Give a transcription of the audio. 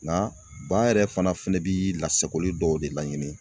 Nka ba yɛrɛ fana fɛnɛ bi lasagoli dɔw de laɲini.